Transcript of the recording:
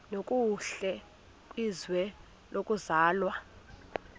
nokuhle kwizwe lokuzalwa